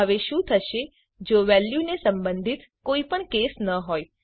હવે શું થશે જો વેલ્યુને સંબંધિત કોઈ પણ કેસ ન હોય